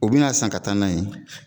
U bi na san ka taa n'a ye